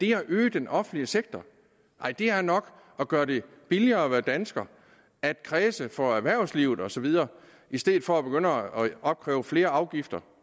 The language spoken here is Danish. er at øge den offentlige sektor nej det er nok at gøre det billigere at være dansker at kræse for erhvervslivet og så videre i stedet for at begynde at opkræve flere afgifter